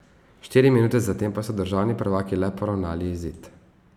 Štiri minute zatem pa so državni prvaki le poravnali izid.